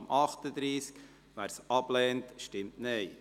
wer diese ablehnt, stimmt Nein.